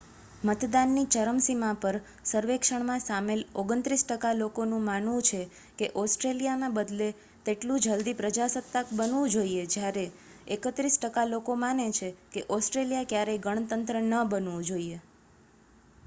મતદાનની ચરમસીમા પર સર્વેક્ષણમાં સામેલ 29 ટકા લોકો નું માનવું છે કે ઓસ્ટ્રેલિયા બને તેટલું જલદી પ્રજાસત્તાક બનવું જોઈએ, જ્યારે 31 ટકા લોકો માને છે કે ઓસ્ટ્રેલિયા ક્યારેય ગણતંત્ર ન બનવું જોઈએ